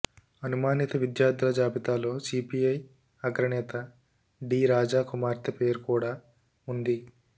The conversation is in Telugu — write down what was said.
అనుమానిత విద్యార్థుల జాబితాలో సిపిఐ అగ్రనేత డి రాజా కుమార్తె పేరు కూడా ఉంది